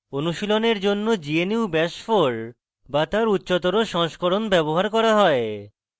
অনুশীলনের জন্য gnu bash 4 bash তার উচ্চতর সংস্করণ ব্যবহার করা হয়